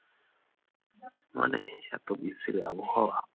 মানে এত বিচ্ছিরি আবহাওয়া!